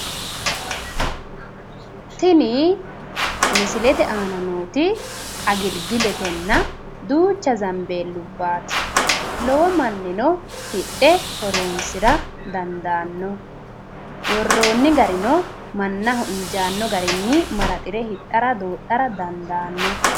Tini misilete aana nooti agilgiletenna duucha zambeellubbaati. Lowo mannino hidhe horoonsira dandaanno. Worroonni garino mannaho injaanno garinni maraxire hidhara doodhara dandaanno.